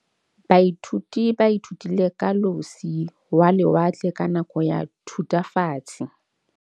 Baithuti ba ithutile ka losi lwa lewatle ka nako ya Thutafatshe.